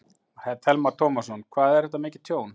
Telma Tómasson: Hvað er þetta mikið tjón?